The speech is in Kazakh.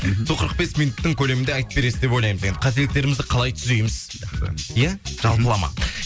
сол қырық бес минуттың көлемінде айтып бересіз деп ойлаймыз енді қателіктерімізді қалай түзейміз иә жалпылама